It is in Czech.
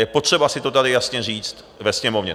Je potřeba si to tady jasně říct ve Sněmovně.